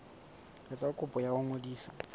etsa kopo ya ho ngodisa